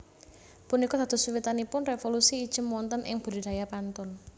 Punika dados wiwitanipun révolusi ijem wonten ing budidaya pantun